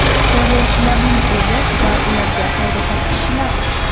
Terrorchilarning o‘zi va ularga xayrixoh kishilar.